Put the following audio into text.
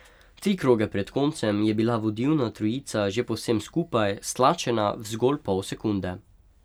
Tri kroge pred koncem je bila vodilna trojica že povsem skupaj, stlačena v zgolj pol sekunde.